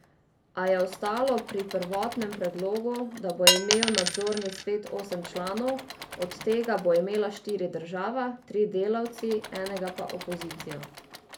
A je ostalo pri prvotnem predlogu, da bo imel nadzorni svet osem članov, od tega bo imela štiri država, tri delavci, enega pa opozicija.